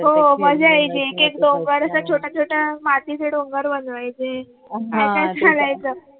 हो मजा यायची एक एक डोंगर अस छोट छोट मातीचे डोंगर बनवायचे असच चालायचा.